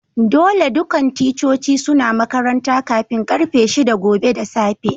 Dolle dukan ticcoci suna makaranta kafin karfe shida gobe da safe.